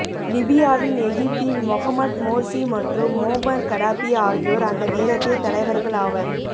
லிபியாவின் எகிப்தின் Mohamed Morsi மற்றும் Muammar Gaddafi ஆகியோர் அந்த நேரத்தில் தலைவர்கள் ஆவர்